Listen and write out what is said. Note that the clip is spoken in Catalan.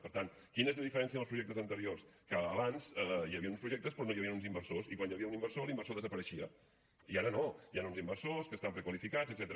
per tant quina és la diferència amb els projectes anteriors que abans hi havien uns projectes però no hi havien uns inversors i quan hi havia un inversor l’inversor desapareixia i ara no hi han uns inversors que estan prequalificats etcètera